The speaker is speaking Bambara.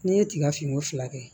N'i ye tigafini fila kɛ